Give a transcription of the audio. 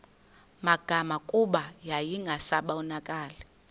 magama kuba yayingasabonakali